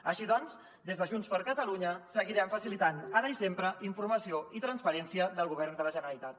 així doncs des de junts per catalunya seguirem facilitant ara i sempre informació i transparència del govern de la generalitat